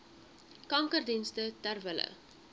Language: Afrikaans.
kankerdienste ter wille